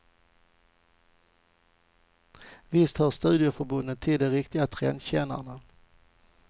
Visst hör studieförbunden till de riktiga trendkännarna.